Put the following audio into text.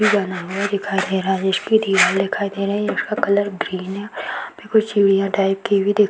इ बना हुआ दिखाई दे रहा है उस पे दीवाल दिखाई दे रहे है उसका कलर ग्रीन है यहाँ पे कोई चिड़ियाँ टाइप की भी --